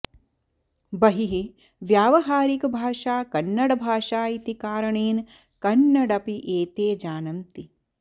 बहिः व्यावहारिकभाषा कन्नडभाषा इति कारणेन् कन्नडमपि एते जानन्ति